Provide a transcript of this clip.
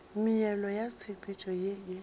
meela ya tshepetšo ye e